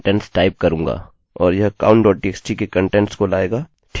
और यह counttxt के कंटेंट्स को लाएगा